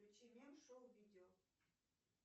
включи мем шоу видео